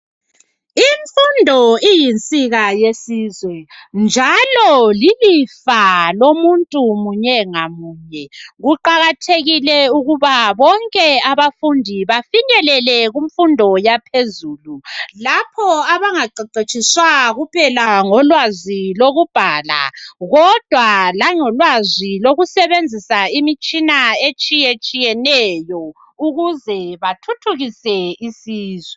Imfundo iyinsika yesizwe njalo lilifa lomuntu munye ngamunye kuqakathekile ukuthi bonke, abafundi bafinyelele kumfundo yaphezulu lapho abangaqeqetshiswa kuphela ngolwazi lokubhala, kodwa langolwazi lokusebenzisa imitshina etshiyeneyo ukize bethuthukise isizwe.